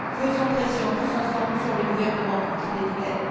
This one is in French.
Faisons pression tous ensemble sur le gouvernement pour qu'il les libère.